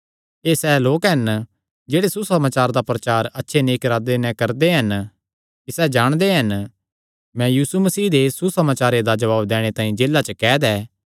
एह़ सैह़ लोक हन जेह्ड़े सुसमाचार दा प्रचार अच्छे नेक इरादे कने प्यार नैं करदे हन कि सैह़ जाणदे हन मैं यीशु मसीह दे सुसमाचारे दा जवाब दैणे तांई जेला च कैद ऐ